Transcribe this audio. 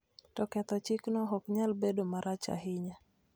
to ketho chikno ok nyal bedo marach ahinya